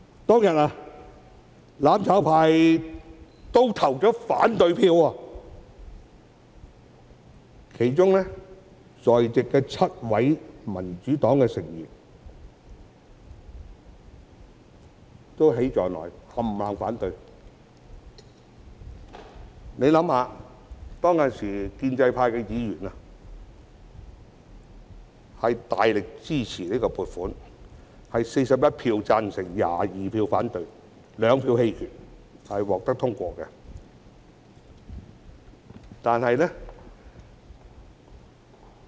當天，"攬炒派"——包括在席的7位民主黨議員——對此投下反對票，而當時建制派議員卻大力支持這項撥款，結果有41票贊成 ，22 票反對 ，2 票棄權，議案獲得通過。